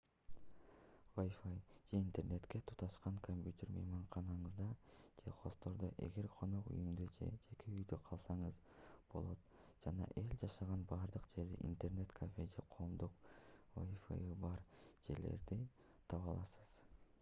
wifi же интернетке туташкан компьютер мейманканаңызда же хосттордо эгер конок үйүндө же жеке үйдө калсаңыз болот жана эл жашаган бардык жерде интернет-кафе же коомдук wifi'ы бар жерлерди таба аласыз